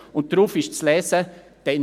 Und darauf ist zu lesen: «